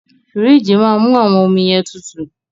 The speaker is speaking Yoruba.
Fííjì máa mú àwọn ọmi yẹn tutù.